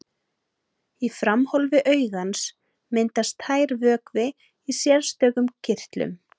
Í framhólfi augans myndast tær vökvi í sérstökum kirtlum.